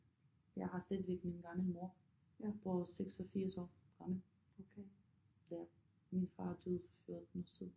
Jeg har stadigvæk min gamle mor på 86 år fremme ja min far er død for 14 år siden